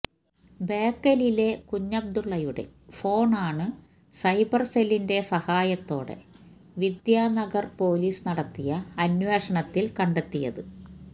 ബേക്കലിലെ കുഞ്ഞബ്ദുല്ലയുടെ ഫോണ് ആണ് സൈബര് സെല്ലിന്റെ സഹായത്തോടെ വിദ്യാനഗര് പൊലീസ് നടത്തിയ അന്വേഷണത്തില് കണ്ടെത്തിയത്